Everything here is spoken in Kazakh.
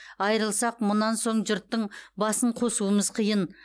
айрылсақ мұнан соң жұрттың басын қосуымыз қиын